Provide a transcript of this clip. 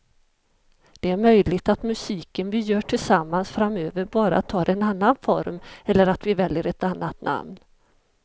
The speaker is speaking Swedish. Det är möjligt att musiken vi gör tillsammans framöver bara tar en annan form eller att vi väljer ett annat namn.